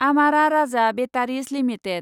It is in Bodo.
आमारा राजा बेटारिज लिमिटेड